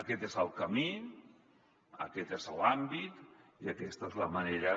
aquest és el camí aquest és l’àmbit i aquesta és la manera